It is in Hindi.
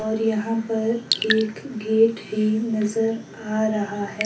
और यहां पर एक गेट है नजर आ रहा है।